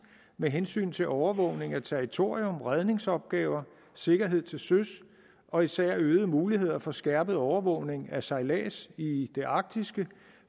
med hensyn til overvågning af territorium redningsopgaver sikkerhed til søs og især øgede muligheder for skærpet overvågning af sejlads i det arktiske